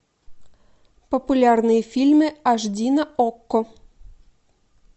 популярные фильмы аш ди на окко